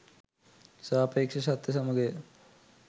සාපේක්ෂ සත්‍ය සමගය.